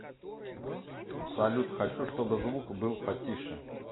салют хочу чтобы звук был потише